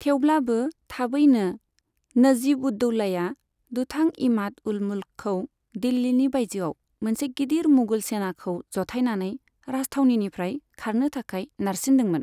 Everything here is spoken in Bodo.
थेवब्लाबो थाबैनो, नजीब उद दौलाया दुथां इमाद उल मुल्कखौ दिल्लीनि बायजोआव मोनसे गिदिर मुगल सेनाखौ जथायनानै राजथावनिनिफ्राय खारनो थाखाय नारसिनदोंमोन।